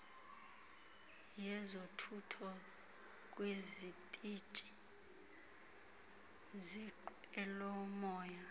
yezothutho kwizitishi zenqwelomoya